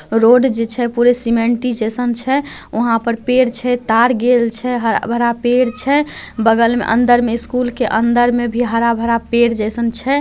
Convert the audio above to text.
Road जे छै पूरे सीमेंटी जैसन छै वहां पर पेड़ छै तार गेल छै हरा-भरा पेड़ छै बगल में अंदर में स्कूल के अंदर में भी हरा-भरा पेड़ जैसन छै।